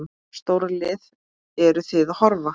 Stórlið, eru Þið að horfa?